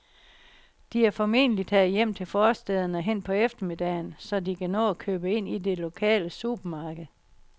De er formentlig taget hjem til forstæderne hen på eftermiddagen, så de kan nå at købe ind i det lokale supermarked.